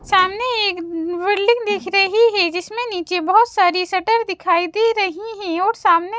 सामने एक बिल्डिंग दिख रही है जिसमें नीचे बहोत सारी शटर दिखाई दे रही है और सामने--